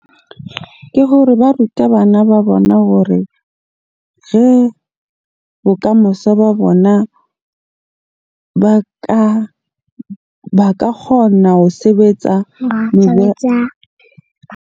Ke hore ba ruta bana ba bona hore bokamoso ba bona ba ka kgona ho sebetsa .